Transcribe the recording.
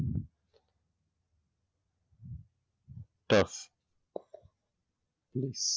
ટ